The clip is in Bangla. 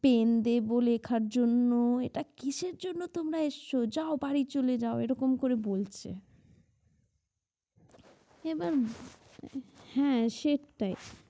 pen দেব লেখার জন্য এটা কিসের জন্য তোমরা এসছো যাও বাড়ি চলে যাও এরকম করে বলছে এবার হ্যাঁ সেটাই